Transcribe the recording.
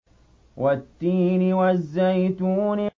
وَالتِّينِ وَالزَّيْتُونِ